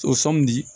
O sɔmi di